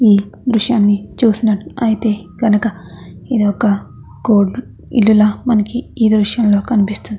ఈ దృశ్యాన్ని చూస్తున్నట్లయితే కనుక ఇది ఒక ఇల్లు లాగా మనకి ఈ దృశ్యంలో కనిపిస్తూ ఉన్నది.